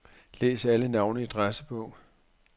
Læs alle navne i adressebog.